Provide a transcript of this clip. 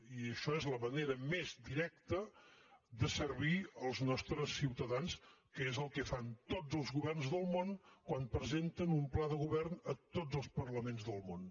i això és la manera més directa de servir els nostres ciutadans que és el que fan tots els governs del món quan presenten un pla de govern a tots els parlaments del món